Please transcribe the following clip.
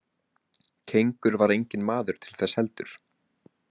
Kengur var enginn maður til þess heldur.